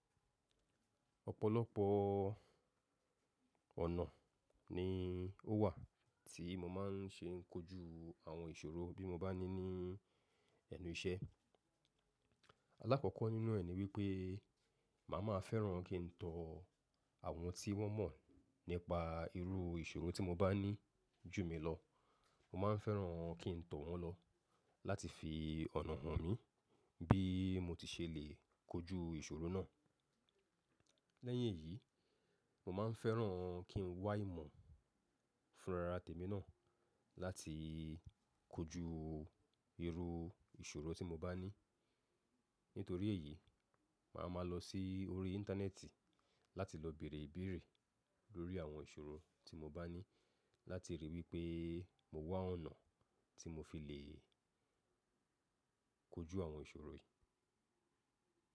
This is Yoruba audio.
Ọ̀pọ̀lọpọ̀ ọ̀nà ni ó wà tí mo máa ń ṣe kojú àwọn ìṣòro bí mo bá ní ní ẹnu iṣẹ́. Alákọ̀ọ́kọ́ nínú ẹ̀ ni wípé mà má fẹ́ràn kí n tọ àwọn tí wọ́n mọ̀ nípa irú ìṣòro tí mo bá ní jù mí lọ. Mọ máa ń fẹ́ràn kí n tó wọn lọ láti fi ọ̀nà mo mí bí mo ti ṣe lè kojú ìṣòro náà. Lẹ́yìn èyí, mo máa ń fẹ́ràn kí n wá ìmọ̀ fúnra ra tèmi náà láti kojú irú ìṣòro tí mo bá ní. Nítorí èyí, mà má lọ sí orí íńtánẹ́ẹ̀tì láti lọ bèèrè ìbéèrè lórí àwọn ìṣòro tí mo bá ní láti ríi wípé mo wá ọ̀nà tí mo fi le kojú àwọn ìṣòro yìí.